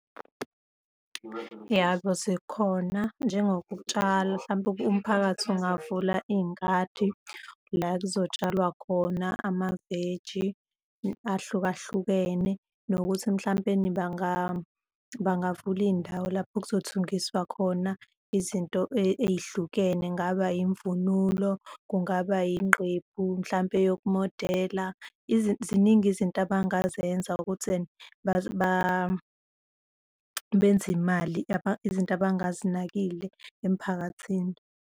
Yebo, zikhona njengokutshala hlampe, umphakathi ungavula iy'ngadi la kuzotshalwa khona amaveji ahlukahlukene nokuthi mhlampeni bangavula iy'ndawo lapho kuzothungiswa khona izinto ey'hlukene, kungaba imvunulo, kungaba inqephu mhlampe yokumodela. Ziningi izinto abangazenza ukuthi benze imali, izinto abangazinakile emphakathini.